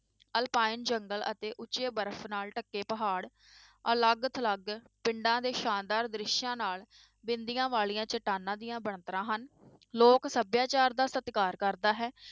Alpine ਜੰਗਲ ਅਤੇ ਉੱਚੇ ਬਰਫ਼ ਨਾਲ ਢਕੇ ਪਹਾੜ ਅਲੱਗ ਥਲੱਗ ਪਿੰਡਾਂ ਦੇ ਸ਼ਾਨਦਾਰ ਦ੍ਰਿਸ਼ਾਂ ਨਾਲ ਬਿੰਦੀਆਂ ਵਾਲੀਆਂ ਚਟਾਨਾਂ ਦੀਆਂ ਬਣਤਰਾਂ ਹਨ, ਲੋਕ ਸਭਿਆਚਾਰ ਦਾ ਸਤਿਕਾਰ ਕਰਦਾ ਹੈ।